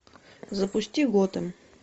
запусти готэм